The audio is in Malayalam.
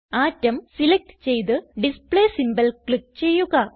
അട്ടോം സിലക്റ്റ് ചെയ്ത് ഡിസ്പ്ലേ സിംബോൾ ക്ലിക്ക് ചെയ്യുക